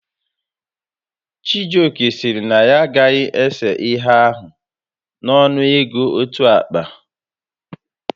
Chijioke sịrị na ya agaghị ese ihe ahụ n'ọnụ ego otu akpa